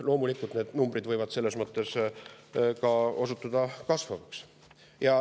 Loomulikult, need numbrid võivad selles mõttes osutuda ka kasvavaks.